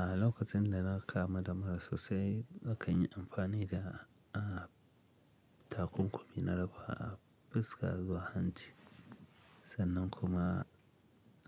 A lokacin da na kamu da mura sosai, na kan yi amfani da a takunkumi na dafa a fuskar zuwa hanci sannan kuma